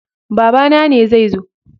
Babana ne zai zo.